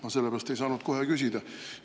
Ma sellepärast ei saanud kohe küsida.